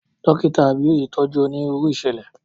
Dókítà Abíóyè tọ́jú onírúurú ìṣẹ̀lẹ̀.